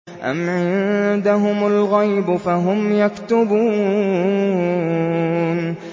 أَمْ عِندَهُمُ الْغَيْبُ فَهُمْ يَكْتُبُونَ